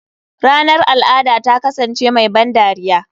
Ranar al'ada ta kasance mai ban dariya.